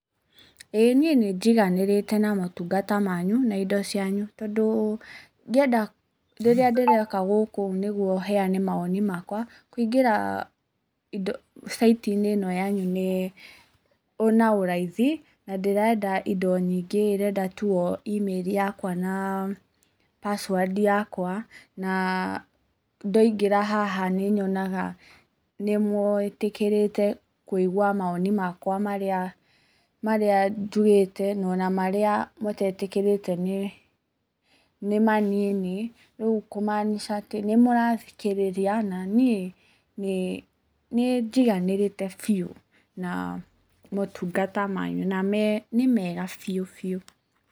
Ĩ niĩ nĩ njiganĩrĩte na motungata manyu na indo cianyu. Tondũ rĩrĩa ndĩroka gũkũ nĩguo heane mawoni makwa kũingĩra site~inĩ ĩno yanyu nĩ na ũraithi. Na ndĩrenda indo nyingĩ irenda tu o email yakwa na password yakwa. Na ndoingĩra haha nĩ nyonaga nĩ mwĩtĩkĩrĩte kũigwa mawoni makwa marĩa njugĩte na ona marĩa mũtetĩkĩrĩte nĩ manini. Rĩu kumanica atĩ nĩ murathikĩrĩria na niĩ nĩ njiganĩrĩte biũ na motungata manyu na nĩ mega biũ biũ.